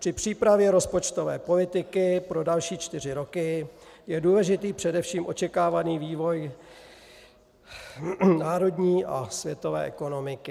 Při přípravě rozpočtové politiky pro další čtyři roky je důležitý především očekávaný vývoj národní a světové ekonomiky.